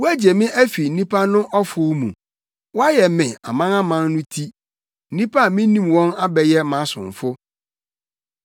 Woagye me afi nnipa no ɔfow mu, woayɛ me amanaman no ti; nnipa a minnim wɔn abɛyɛ mʼasomfo.